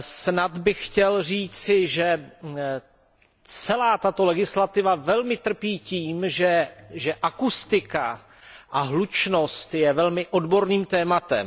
Snad bych chtěl říci, že celá tato legislativa velmi trpí tím, že akustika a hlučnost je velmi odborným tématem.